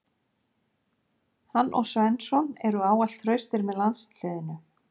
Hann og Svensson eru ávallt traustir með landsliðinu.